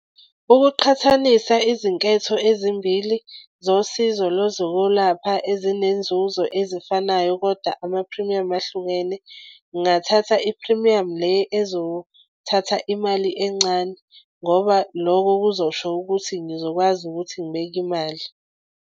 Ukuqhathanisa izinketho ezimbili zosizo lwezokulapha ezinenzuzo ezifanayo kodwa amaphrimiyamu ahlukene ngingathatha iphrimiyamu le ezothatha imali encane, ngoba lokho kuzosho ukuthi ngizokwazi ukuthi ngibeke imali.